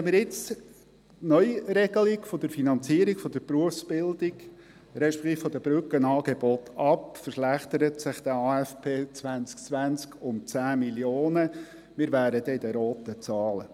Lehnen wir jetzt die Neuregelung der Finanzierung der Berufsbildung, beziehungsweise der Brückenangebote ab, verschlechtert sich der AFP 2020 um 10 Mio. Franken, und wir befinden uns in den roten Zahlen.